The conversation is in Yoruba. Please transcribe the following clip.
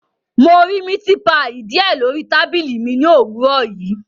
Mo ri miti paii diẹ lori tabili mi ni owurọ yii